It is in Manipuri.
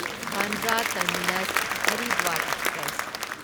Bandra terminus Haridwar express